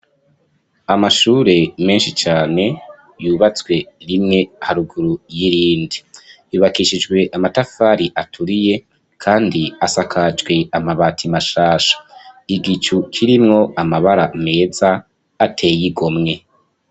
Amashure menshi cane yubatswe rimwe haruguru y'irindi, yubakishijwe amatafari aturiye, kandi asakajwe amabati mashasha igicu kirimwo amabara meza ateye igo mwe.